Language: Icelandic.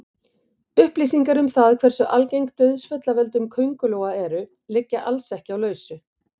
Upplýsingar um það hversu algeng dauðsföll af völdum köngulóa eru liggja alls ekki á lausu.